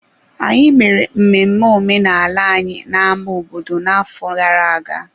Anyị mere mmemme omenala anyị na-ámá obodo n'afọ gara-aga.